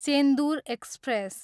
Chendur express